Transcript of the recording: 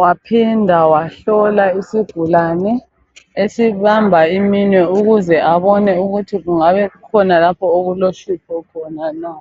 Waphinda wahlola isigulane esibamba iminwe ukuze abone ukuthi kungabe kukhona lapho okulohlupho khona na.